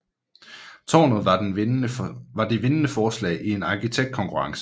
Tårnet var det vindende forslag i en arkitektkonkurrence